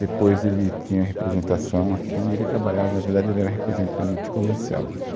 Depois, ele tinha representação aqui e ele trabalhava... Na verdade, ele era representante comercial.